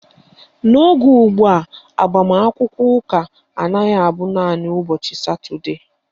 N'oge ugbua, agbamakwụkwọ ụka anaghị abụ naanị ụbọchị Satọdee